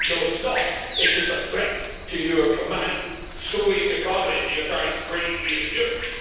No it's not it's just a threat to your command Soviet economy that you're trying to create here in Europe.